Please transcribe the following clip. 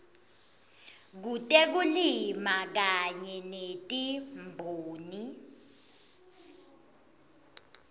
kutekulima kanye netimboni